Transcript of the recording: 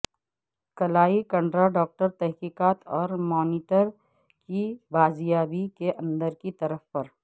کلائی کنڈرا ڈاکٹر تحقیقات اور مانیٹر کی بازیابی کے اندر کی طرف پر